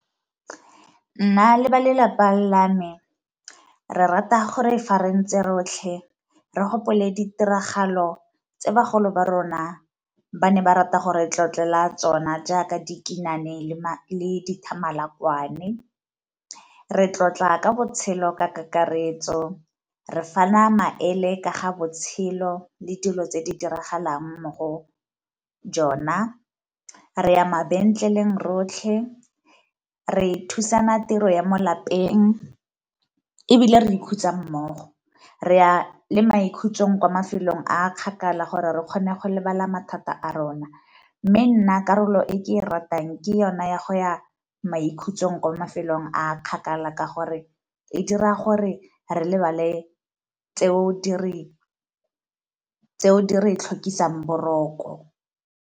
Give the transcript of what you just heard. Nna le ba lelapa la me re rata gore fa rentse rotlhe re gopole ditiragalo tse bagolo ba rona ba ne ba rata gore tlotlela tsona jaaka dikinane le dithamalakwane, re tlotla ka botshelo ka kakaretso, re fana maele ka ga botshelo le dilo tse di diragalang mo go jona, re ya mabentleleng rotlhe, re e thusana tiro ya mo lapeng ebile re ikhutsa mmogo, re a le maikhutsong kwa mafelong a kgakala gore re kgone go lebala mathata a rona. Mme nna karolo e ke e ratang ke yona ya go ya maikhutsong kwa mafelong a kgakala ka gore e dira gore re lebale tseo di re tlhokisang boroko.